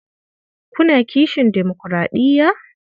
Kuna kishin demokuraɗiya?